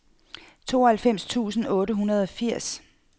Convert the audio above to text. tooghalvfems tusind otte hundrede og firs